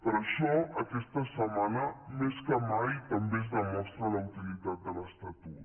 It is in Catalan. per això aquesta setmana més que mai també es demostra la utilitat de l’estatut